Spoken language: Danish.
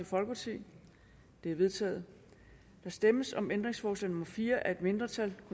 folkeparti de er vedtaget der stemmes om ændringsforslag nummer fire af et mindretal